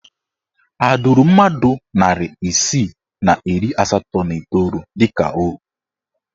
Ha duru mmadụ narị isii na iri asatọ na iteolu dịka ohu?